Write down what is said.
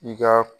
I ka